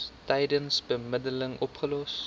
tydens bemiddeling opgelos